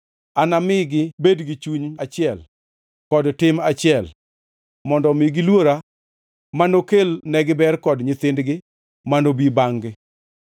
Anami gibed gi chuny achiel kod tim achiel, mondo omi giluora manokel negiber kod nyithindgi manobi bangʼ-gi.